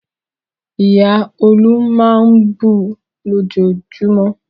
Ìyá Olú máa ń bu lójoojúmọ́.